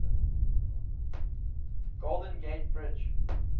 golden gate bridge